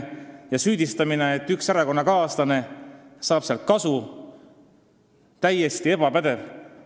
Süüdistamine, et üks meie erakonnakaaslane saab kasu maakonnaliinide doteerimisest, on täiesti ebapädev.